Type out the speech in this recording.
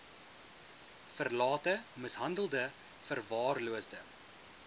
verlate mishandelde verwaarloosde